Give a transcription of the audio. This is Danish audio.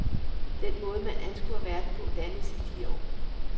Den måde, man anskuer verden på, dannes i de år.